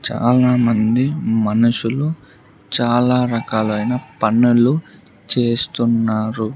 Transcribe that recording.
చాలామంది మనుషులు చాలా రకాలైన పనులు చేస్తున్నారు.